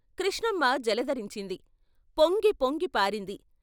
కృష్ణమ్మ జలదరించింది పొంగి పొంగి పారింది.